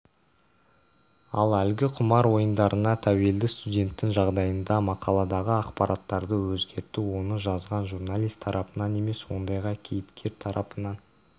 ал әлгі құмар ойындарына тәуелді студенттің жағдайында мақаладағы ақпараттарды өзгерту оны жазған журналист тарапынан емес ондағы кейіпкер тарапынан